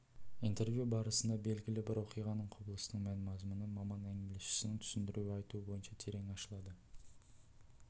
интервью барысында белгілі бір оқиғаның құбылыстың мән-мазмұны маман әңгімелесушінің түсіндіруі айтуы бойынша терең ашылады